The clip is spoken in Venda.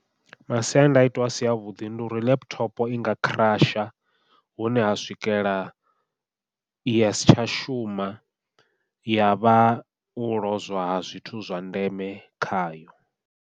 Masiandaitwa a si avhuḓi ndi uri laptop i nga crush hune ha swikela ya si tsha shuma ya vha u lozwa ha zwithu zwa ndeme khayo.